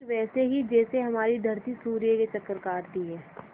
ठीक वैसे ही जैसे हमारी धरती सूर्य के चक्कर काटती है